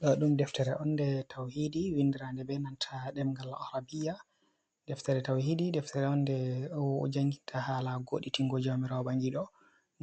Ɗa ɗum deftere on de tauhiɗi. Winɗiranɗe be nanta demgal arabia. Ɗeftere tauhiɗi ɗeftere on ɗe jangita hala goditingo jawmirawo bangiɗo.